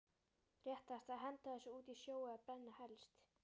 Réttast að henda þessu út í sjó eða brenna helst.